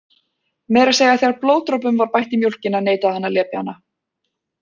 Meira að segja þegar blóðdropum var bætt í mjólkina neitaði hann að lepja hana.